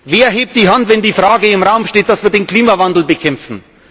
machen. Wer hebt die Hand, wenn die Frage im Raum steht, dass wir den Klimawandel bekämpfen?